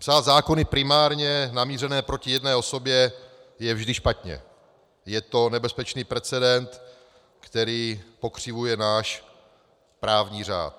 Psát zákony primárně namířené proti jedné osobě je vždy špatně, je to nebezpečný precedens, který pokřivuje náš právní řád.